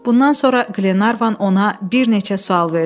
Bundan sonra Qlenarvan ona bir neçə sual verdi.